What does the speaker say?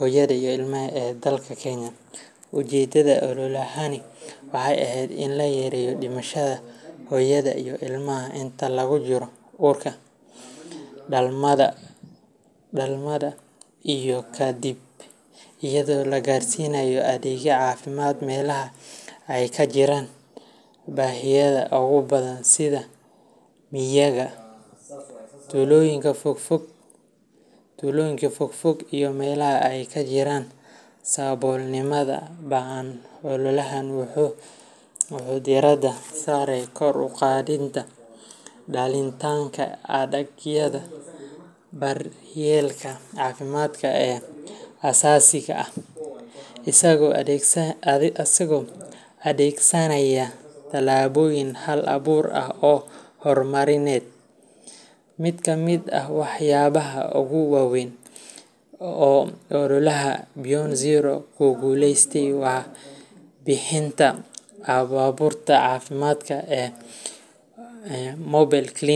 hooyada iyo ilmaha ee dalka Kenya. Ujeeddada ololahani waxay ahayd in la yareeyo dhimashada hooyada iyo ilmaha inta lagu jiro uurka, dhalmada iyo ka dibba, iyadoo la gaarsiinayo adeegyada caafimaad meelaha ay ka jiraan baahiyaha ugu badan sida miyiga, tuulooyinka fogfog iyo meelaha ay ka jiraan saboolnimada ba’an. Ololahani wuxuu diiradda saaray kor u qaadidda helitaanka adeegyada daryeelka caafimaad ee aasaasiga ah, isagoo adeegsanaya tallaabooyin hal abuur ah oo horumarineed. Mid ka mid ah waxyaabaha ugu waaweyn ee ololaha Beyond Zero ku guuleystay waa bixinta baabuurta caafimaadka ee mobile clinics.